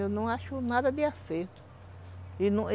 Eu não acho nada de acerto. E não